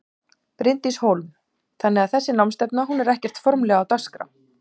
Bryndís Hólm: Þannig að þessi námsstefna hún er ekkert formlegra á dagskrá?